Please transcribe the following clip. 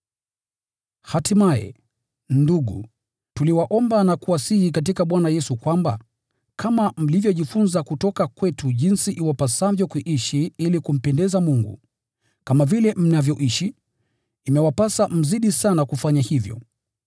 Hatimaye, ndugu, tuliwaomba na kuwasihi katika Bwana Yesu kwamba, kama mlivyojifunza kutoka kwetu jinsi iwapasavyo kuishi ili kumpendeza Mungu, kama vile mnavyoishi, imewapasa mzidi sana kufanya hivyo.